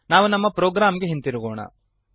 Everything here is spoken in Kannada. ನಾವು ನಮ್ಮ ಪ್ರೋಗ್ರಾಂ ಗೆ ಹಿಂದಿರುಗೋಣ